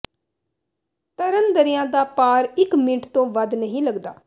ਤਰਨ ਦਰਿਆ ਦਾ ਪਾਰ ਇਕ ਮਿੰਟ ਤੋਂ ਵੱਧ ਨਹੀਂ ਲੱਗਦਾ